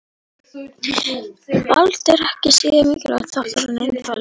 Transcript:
Vald er ekki síður mikilvægur þáttur í einkalífinu.